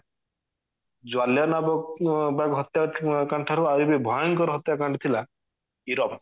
ଜ୍ଵଳିୱାନା ବାଗ ଅ ହତ୍ୟା କାଣ୍ଡ ଠାରୁ ଆହୁରି ବି ଭୟଙ୍କର ହତ୍ୟା କାଣ୍ଡ ଥିଲା ଇରମ